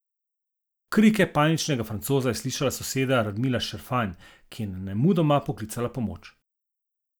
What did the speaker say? Krike paničnega Francoza je slišala soseda Radmila Šafranj, ki je nemudoma poklicala pomoč.